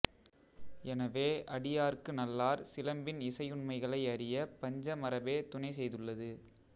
எனவே அடியார்க்கு நல்லார் சிலம்பின் இசையுண்மைகளை அறியப் பஞ்சமரபே துணை செய்துள்ளது